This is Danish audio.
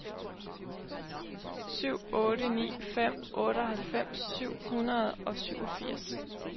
syv otte ni fem otteoghalvfems syv hundrede og syvogfirs